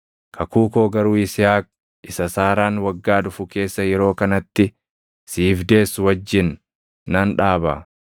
Kakuu koo garuu Yisihaaq isa Saaraan waggaa dhufu keessa yeroo kanatti siif deessu wajjin nan dhaaba.”